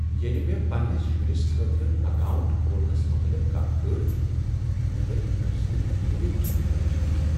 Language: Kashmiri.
ییٚلہ مےٚ پنٛنس شرس خٲطرٕ اکاونٹ کھولنس متعلق کتھ کٔر، مےٚ لٔج أمۍ سٕنٛد مٲلی مستقبلٕچ فکر۔